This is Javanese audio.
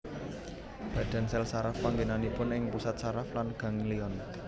Badan sèl saraf panggènanipun ing pusat saraf lan ganglion